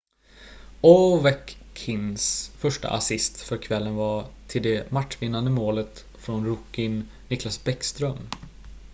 ovechkins första assist för kvällen var till det matchvinnande målet från rookien nicklas bäckström